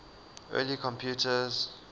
early computers